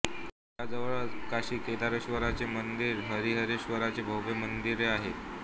या जवळच काशी केदारेश्वराचे मंदिर हरिहरेश्वराचे भव्य मंदिरे आहे